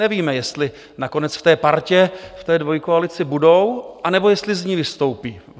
Nevíme, jestli nakonec v té partě, v té dvojkoalici budou, anebo jestli z ní vystoupí.